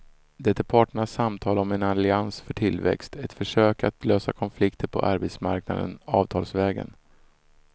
Det är parternas samtal om en allians för tillväxt, ett försök att lösa konflikterna på arbetsmarknaden avtalsvägen.